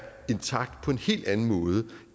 intakt på en helt anden måde